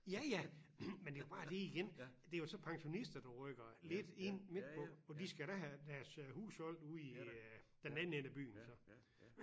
Ja ja men det jo bare det igen det er jo så pensionister du rykker lidt ind midtpå og de skal da have deres øh hus solgt ude i øh den anden ende af byen så